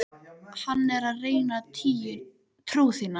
Hann er að reyna trú þína.